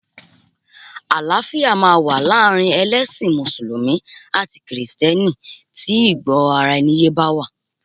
Àlàáfíà máa wà láàrin ẹlẹ́sìn mùsùlùmí àti kìrìsìtẹ́nì tí ìgbọ́raẹniyé bá wà.